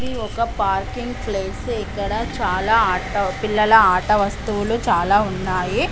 ఇది ఒక parking place. ఇక్కడ చాలా ఆట పిల్లల ఆట వస్తువులు చాలా ఉన్నాయి.